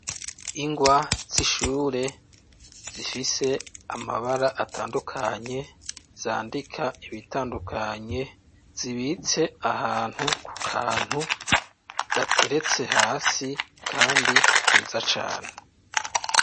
Ingwa z'ishure, zifise amabara atandukanye, zandika ibitandukanye, zibitse ahantu, ku kantu, gateretse hasi, kandi keza cane.